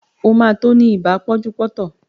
O ma tó ní ibà pánjúpọ́tàn